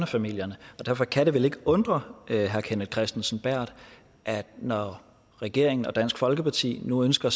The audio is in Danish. familierne og derfor kan det vel ikke undre herre kenneth kristensen berth at vi når regeringen og dansk folkeparti nu ønsker